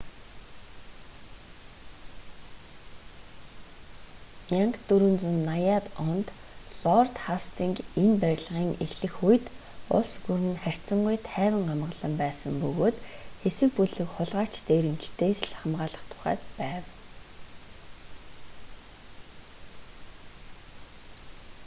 1480-д онд лорд хастинг энэ барилгын эхлэх үед улс гүрэн нь харьцангүй тайван амгалан байсан бөгөөд хэсэг бүлэг хулгайч дээрэмчидээс л хамгаалах тухайд байв